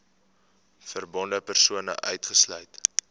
verbonde persone uitgesluit